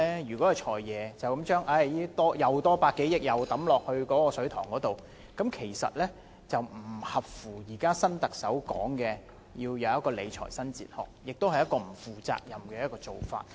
如果"財爺"又將這百多億元投入"水塘"裏面，就不符合現在新特首說的理財新哲學，亦是不負責任的做法。